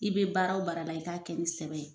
I bɛ baara wo baara la i k'a kɛ ni sɛbɛ ye.